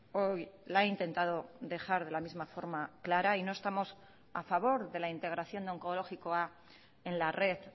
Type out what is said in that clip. hoy la he intentado dejar de la misma forma clara y no estamos a favor de la integración de onkologikoa en la red